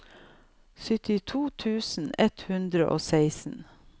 syttito tusen ett hundre og seksten